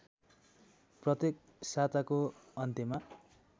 प्रत्येक साताको अन्त्यमा